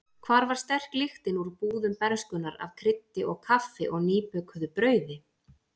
Hvar var sterk lyktin úr búðum bernskunnar af kryddi og kaffi og nýbökuðu brauði?